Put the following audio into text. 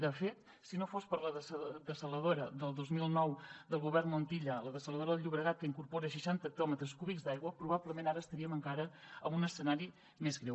de fet si no fos per la dessaladora del dos mil nou del govern montilla la dessaladora del llobregat que incorpora seixanta hectòmetres cúbics d’aigua probablement ara estaríem encara en un escenari més greu